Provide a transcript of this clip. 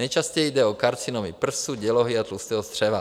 Nejčastěji jde o karcinomy prsu, dělohy a tlustého střeva.